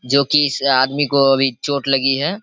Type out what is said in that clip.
जो कि इस आदमी को अभी चोट लगी है।